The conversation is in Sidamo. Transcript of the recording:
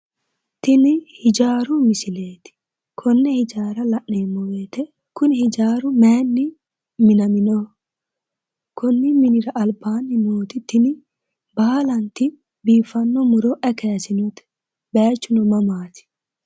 tini hijaaru misileeti konne hijaara la'neemmo wote kuni hijaaru mayiinni minaminoho? konni minira albaanni nooti tini baalanti biiffanno muro ayi kaasinote? bayichuno mamaati?